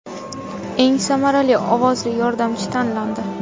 Eng samarali ovozli yordamchi tanlandi.